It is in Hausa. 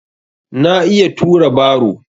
Na iya tura baro.